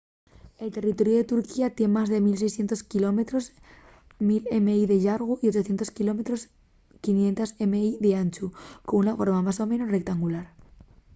el territoriu de turquía tien más de 1,600 quilómetros 1.000 mi de llargu y 800 km 500 mi d’anchu con una forma más o menos rectangular